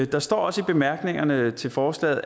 der står også i bemærkningerne til forslaget